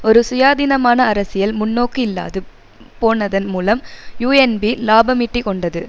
ஒரு சுயாதீனமான அரசியல் முன்நோக்கு இல்லாது போனதன் மூலம் யூஎன்பி இலாபமீட்டிக் கொண்டது